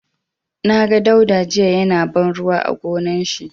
Na ga Dauda jiya ya na ban ruwa a gonar shi.